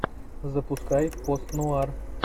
запускай пост нуар